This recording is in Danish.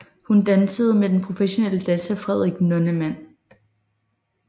Hun dansede med den professionelle danser Frederik Nonnemann